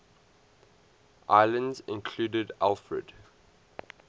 islands included alfred